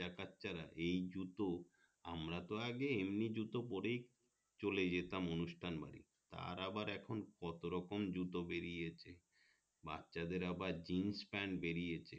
বাচ্ছারা এই জুতো আমরা তো আগে এমনি জুতো পরেই চলে যেতাম অনুষ্ঠান বাড়ি এ আবার এখন কত রকম জুতো বেরিয়েছে বাচ্ছা দের আবার জিন্স পান বেরিছে